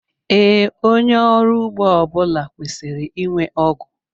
Ee, onye ọrụ ugbo ọbula kwesịrị ịnwe ọgụ